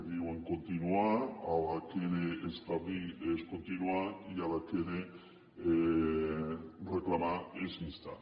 diuen continuar a la que era establir és continuar i a la que era reclamar és instar